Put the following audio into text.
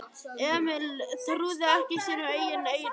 Emil trúði ekki sínum eigin eyrum.